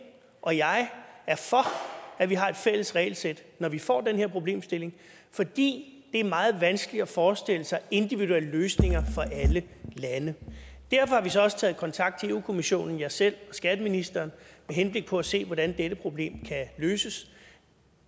og jeg er for at vi har et fælles regelsæt når vi får den her problemstilling fordi det er meget vanskeligt at forestille sig individuelle løsninger for alle lande derfor har vi så også taget kontakt til europa kommissionen jeg selv og skatteministeren med henblik på at se hvordan dette problem kan løses